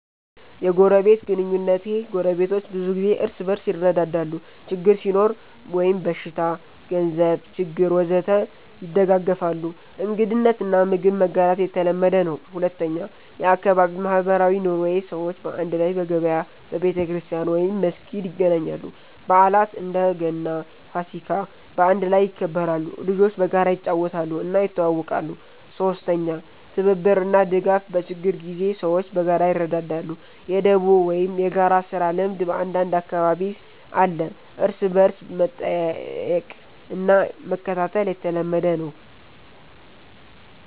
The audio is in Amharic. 1. የጎረቤት ግንኙነቴ ጎረቤቶች ብዙ ጊዜ እርስ በርስ ይረዳዳሉ ችግር ሲኖር (በሽታ፣ ገንዘብ ችግር ወዘተ) ይደጋገፋሉ እንግድነት እና ምግብ መጋራት የተለመደ ነው 2. የአካባቢ ማህበራዊ ኑሮዬ ሰዎች በአንድ ላይ በገበያ፣ በቤተክርስቲያን/መስጊድ ይገናኛሉ በዓላት (እንደ ገና፣ ፋሲካ) በአንድ ላይ ይከበራሉ ልጆች በጋራ ይጫወታሉ እና ይተዋወቃሉ 3. ትብብር እና ድጋፍ በችግር ጊዜ ሰዎች በጋራ ይረዳዳሉ የ“ደቦ” ወይም የጋራ ስራ ልምድ በአንዳንድ አካባቢ አለ እርስ በርስ መጠየቅ እና መከታተል የተለመደ ነው